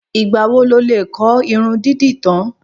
Ìgbà wo lo lè kọ́ irun dídì tán?